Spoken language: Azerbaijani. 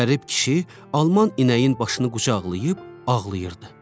Qərib kişi Alman inəyin başını qucaqlayıb ağlayırdı.